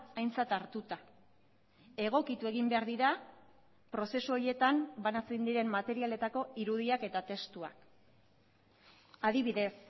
aintzat hartuta egokitu egin behar dira prozesu horietan banatzen diren materialetako irudiak eta testuak adibidez